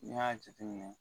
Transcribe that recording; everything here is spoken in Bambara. N'i y'a jate minɛ